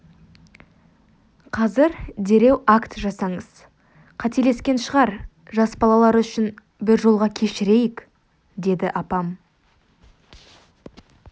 қазір дереу акт жасаңыз қателескен шығар жас балалары үшін бір жолға кешірейік деді апам